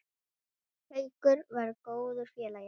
Haukur var góður félagi.